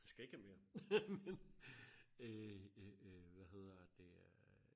skal ikke have mere øh øh øh hvad hedder det øh